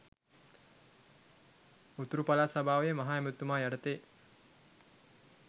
උතුරු පළාත් සභාවේ මහ ඇමතිතුමා යටතේ.